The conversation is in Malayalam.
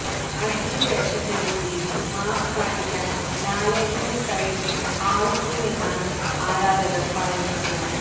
അതിഥി വേഷത്തിലെത്തി മാസ് കാണിക്കാന് ലാലേട്ടനെ കഴിഞ്ഞേ ആളുള്ളുവെന്നാണ് ആരാധകര് പറയുന്നത്